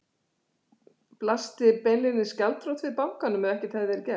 Heimir: Blasti beinlínis gjaldþrot við bankanum ef ekkert hefði verið gert?